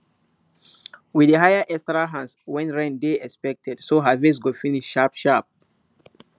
we dey hire extra hands when rain dey expected so harvest go finish sharp sharp